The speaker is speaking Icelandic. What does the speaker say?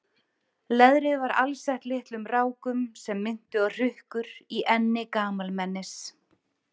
Leðrið var alsett litlum rákum sem minntu á hrukkur í enni gamalmennis.